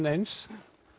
eins